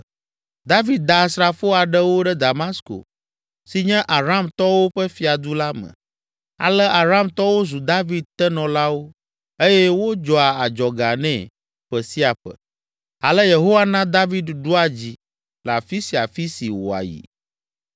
David da asrafo aɖewo ɖe Damasko si nye Aramtɔwo ƒe fiadu la me. Ale Aramtɔwo zu David tenɔlawo eye wodzɔa adzɔga nɛ ƒe sia ƒe. Ale Yehowa na David ɖua dzi le afi sia afi si wòayi.